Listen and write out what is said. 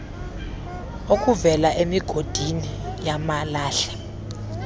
okuvela emigodini yamalahle